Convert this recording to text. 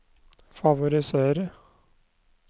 favorisere